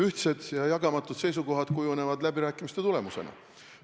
Ühtsed ja jagamatud seisukohad kujunevad läbirääkimiste tulemusena.